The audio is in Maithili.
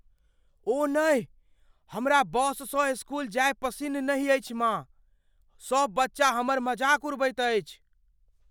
ओह नहि! हमरा बससँ स्कूल जायब पसिन्न नहि अछि, माँ। सभ बच्चा हमर मजाक उड़बैत अछि।